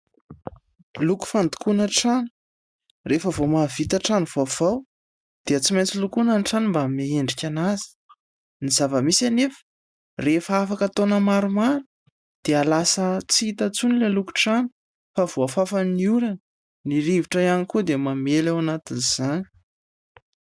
Loko fandokoana trano. Rehefa vao mahavita trano vaovao dia tsy maintsy lokoana ny trano mba hanome endrika anazy. Ny zava-misy anefa rehefa afaka taona maromaro dia lasa tsy hita intsony ilay lokon-trano fa voafafan'ny orana, ny rivotra ihany koa dia mamely ao anatin'izany.